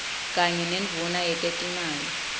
kanye nendvuna yetetimali